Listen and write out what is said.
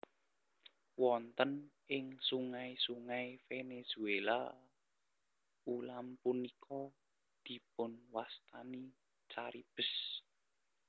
Wonten ing sungai sungai Venezuela ulam punika dipunwastani caribes